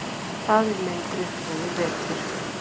Faðir minn drukknaði í vetur.